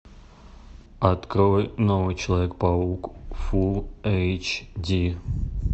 открой новый человек паук фулл эйч ди